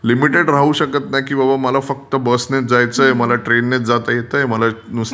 Limited राहू शकत नाही. की बाबा मला फक्त बसनेच जायचं आहे, मला ट्रेननेच जाता येतय. मला नुसते...